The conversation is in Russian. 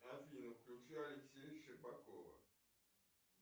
афина включи алексея щербакова